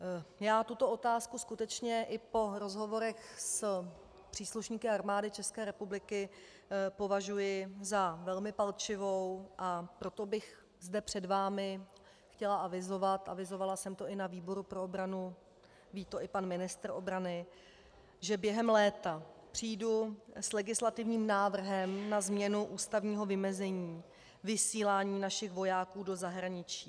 Já tuto otázku skutečně i po rozhovorech s příslušníky Armády České republiky považuji za velmi palčivou, a proto bych zde před vámi chtěla avizovat, avizovala jsem to i na výboru pro obranu, ví to i pan ministr obrany, že během léta přijdu s legislativním návrhem na změnu ústavního vymezení vysílání našich vojáků do zahraničí.